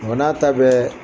o n'a ta bɛƐ